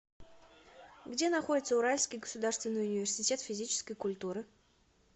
где находится уральский государственный университет физической культуры